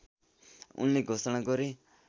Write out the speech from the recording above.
उनले घोषणा गरे